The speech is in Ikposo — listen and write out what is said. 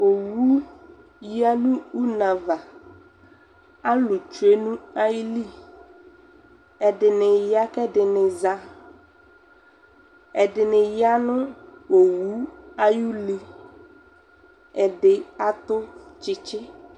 ɔwʋ yanʋ ʋnɛ aɣa, alʋ twɛnʋ ayili, ɛdini ya kʋ ɛdini za, ɛdini yanʋ ɔwʋ ayi ʋli, ɛdi atʋ kyikyi